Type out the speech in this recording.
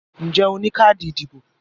Ǹjẹ́ o ní káàdì ìdìbò?